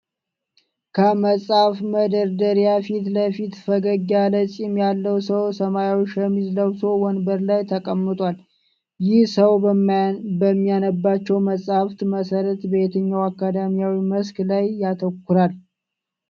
ከመጽሐፍ መደርደሪያ ፊት ለፊት፣ ፈገግ ያለ ፂም ያለው ሰው ሰማያዊ ሸሚዝ ለብሶ ወንበር ላይ ተቀምጧል። ይህ ሰው በሚያነባቸው መጽሐፍት መሠረት በየትኛው አካዳሚያዊ መስክ ላይ ያተኩራል?